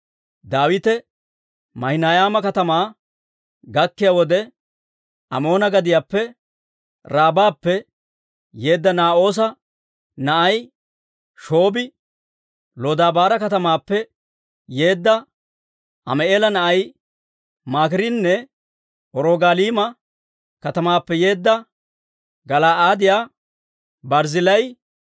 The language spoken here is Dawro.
Daawite Maahinayma katamaa gakkiyaa wode, Amoona gadiyaappe Raabappe yeedda Naa'oosa na'ay Shoobbi, Lodabaara katamaappe yeedda Ammi'eela na'ay Maakiirinne Rogaliima katamaappe yeedda Gala'aadiyaa Barzzillaayi